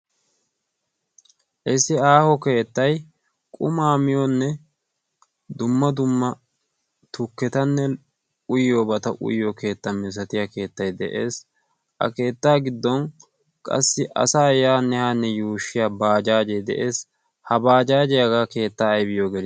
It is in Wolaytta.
Issi aaho keettay qumaa miyoonne dumma dumma tukketanne uyyoobata uyyo keetta mi osatiya keettay de'ees. a keettaa giddon qassi asa yaanne hanne yuushshiya baajaajee de'ees. ha baajaaje aagaa keettaa aybiyo gelii?